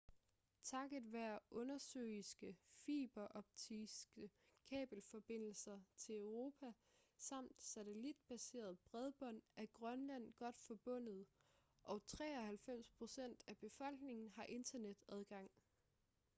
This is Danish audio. takket være undersøiske fiberoptiske kabelforbindelser til europa samt satellitbaseret bredbånd er grønland godt forbundet og 93% af befolkningen har internetadgang